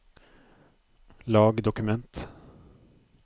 lag dokument